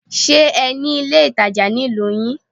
Ṣe ní ilé ìtajà ní ìlú yín?